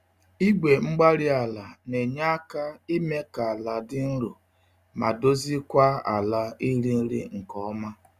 Igwe-mgbárí-ala nenye àkà ime kà àlà di nro, ma dozie kwa ala iri nri nke ọma.